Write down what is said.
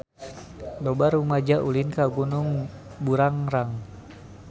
Loba rumaja ulin ka Gunung Burangrang